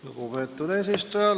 Lugupeetud eesistuja!